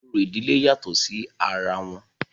orò ìdílé yàtọ̀ sí ara wọn